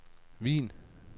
Wien